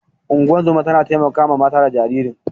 Ungozoma ta taimaka ma ta da jaririn.